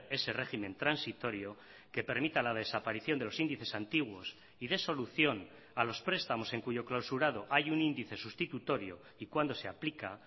ese régimen transitorio que permita la desaparición de los índices antiguos y dé solución a los prestamos en cuyo clausurado hay un índice sustitutorio y cuándo se aplica